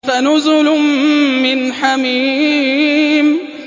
فَنُزُلٌ مِّنْ حَمِيمٍ